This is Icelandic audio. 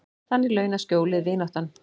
Þannig launað skjólið, vináttan.